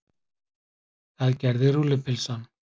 Það gerði rúllupylsan.